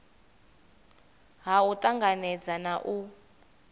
ha u tanganedza na u